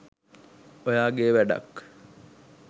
ඔයාගේ වැඩක්